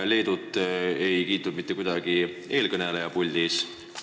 Leedut ei kiitnud eelkõneleja puldis mitte kuidagi.